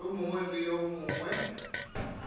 yo mongwe le yo mongwe